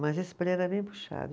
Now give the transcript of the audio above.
Mas esse era bem puxado.